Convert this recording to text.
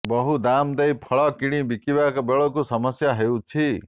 ବହୁ ଦାମ ଦେଇ ଫଳ କିଣି ବିକିବା ବେଳକୁ ସମସ୍ୟା ହେଉଛି